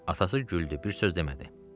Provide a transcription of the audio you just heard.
Atası güldü, bir sözlədi.